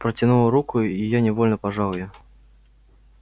протянула руку и я невольно пожал её